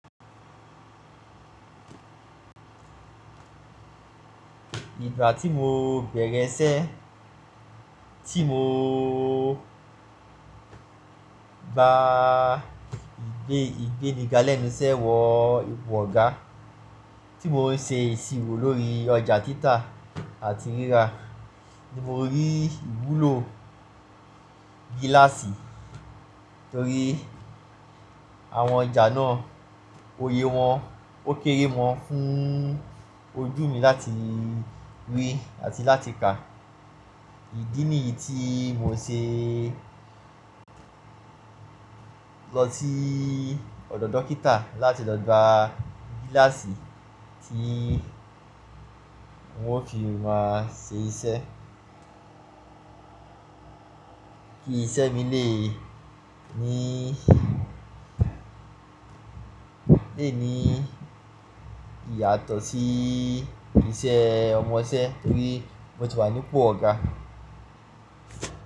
Ìgbà tí mo bẹ̀rẹ̀ iṣẹ́, tí mo bá gbé ìgbéni galẹ́ mi sẹ́ wọ ipò ọ̀gá, tí mò ń ṣe ìṣirò lórí ọjà títà àti rírà, ni mo rí ìwúlò gíláàsì torí àwọn ọjà náà oyè wọn ó kéré mọ́ fún ojú mi láti rí àti láti kà. Ìdí nìyí tí mo ṣe lọ sí ọ̀dọ̀ dókítà láti lọ gba gíláàsì tí n o fi máa ṣe iṣẹ́. Ki iṣẹ́ mi lè ní, lè ní ìyàtọ̀ sí iṣẹ́ ọmọ iṣẹ torí mo ti wà nípò ọ̀gá.